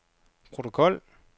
protokol